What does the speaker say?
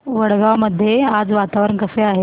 वडगाव मध्ये आज वातावरण कसे आहे